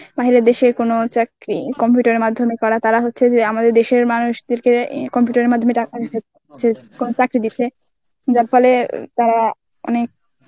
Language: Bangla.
বাহিরের দেশের কোনো চাকরি~ Computer এর মাধ্যমে করা তারা হচ্ছে যে আমাদের দেশের মানুষদেরকে উম Computer এর মাধ্যমে টাকা প্রাকৃতিক. যার ফলে তারা অনেক